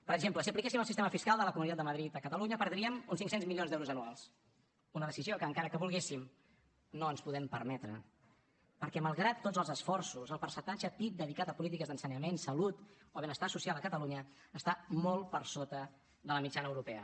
per exemple si apliquéssim el sistema fiscal de la comunitat de madrid a catalunya perdríem uns cinc cents milions d’euros anuals una decisió que encara que volguéssim no ens podem permetre perquè malgrat tots els esforços el percentatge pib dedicat a polítiques d’ensenyament salut o benestar social a catalunya està molt per sota de la mitjana europea